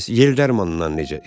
Bəs yel dərmanından necə?